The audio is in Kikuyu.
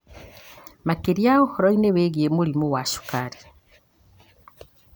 makĩria ũhoro-inĩ wĩgiĩ mũrimũ wa cukari.